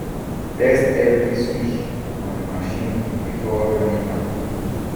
test every switch on machine before running am